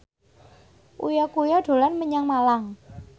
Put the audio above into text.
Uya Kuya dolan menyang Malang